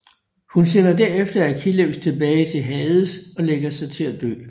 Hun sender derefter Achilleus tilbage til Hades og lægger sig til at dø